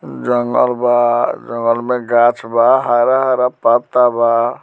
जंगल बा जंगल में गाछ बा हरा-हरा पत्ता बा।